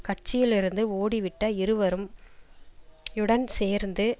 கட்சியிலிருந்து ஓடிவிட்ட இருவரும் யுடன் சேர்ந்து